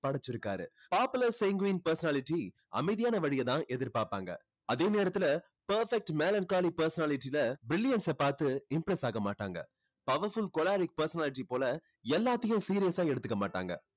படைச்சிருக்காரு. popular sanguine personality அமைதியான வழிய தான் எதிர்பார்ப்பாங்க. அதே நேரத்துல perfect melancholy personality ல brilliance அ பாத்து impress ஆக மாட்டாங்க. powerful choleric personality போல எல்லாத்தையும் serious ஆ எடுத்துக்க மாட்டாங்க.